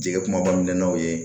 Jigi kuma kɔni n'aw ye